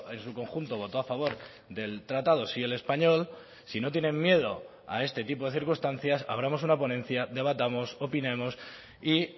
en su conjunto votó a favor del tratado sí el español si no tienen miedo a este tipo de circunstancias abramos una ponencia debatamos opinemos y